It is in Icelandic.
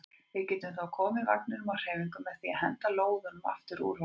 Við getum þá komið vagninum á hreyfingu með því að henda lóðum aftur úr honum.